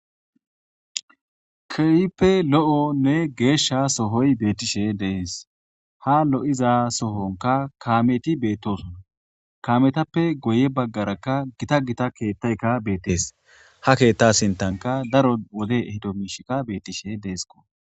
keeyppe lo7o nne geeshsha sohoy beettishe dees ha lo7iza sohonka kaameti beettosona kaametappe goye baggarakka gita gita keettayka beettees ha keetta sintanka daro wode ehdo miishikka beettishe deesko